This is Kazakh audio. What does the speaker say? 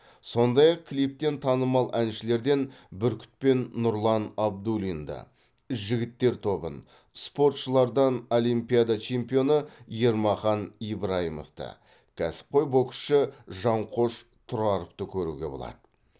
сондай ақ клиптен танымал әншілерден бүркіт пен нұрлан абдуллинді жігіттер тобын спортшылардан олимпиада чемпионы ермахан ибраимовті кәсіпқой боксшы жанқош тұраровты көруге болады